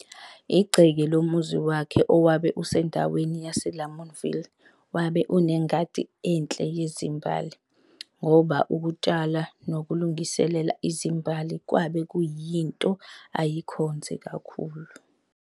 Igceke lomuzi wakhe owabe usendaweni yaseLamontville wabe unengadi enhle yezimbali, ngoba ukutshala nokulungisela izimbali kwabe kuyinto ayikhonze kakhulu.